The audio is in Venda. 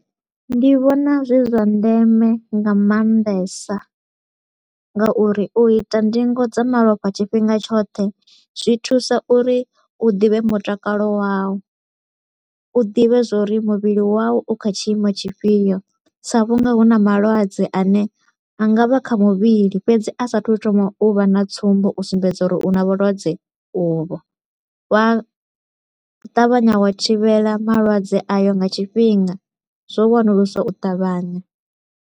Ndi vhona zwi zwa ndeme nga maanḓesa nga uri u ita ndingo dza malofha tshifhinga tshoṱhe zwi thusa uri u ḓivhe mutakalo wau, u ḓivhe zwa uri muvhili wau u kha tshiimo tshifhio. Sa vhu nga hu na malwadze a ne a nga vha a kha muvhili fhedzi a sa a thu u thoma u vha na tsumbo u sumbedza uri u na vhulwadze uvho, wa ṱavhanya wa thivhela malwadze ayo nga tshifhinga, zwo wanuluswa u ṱavhanya.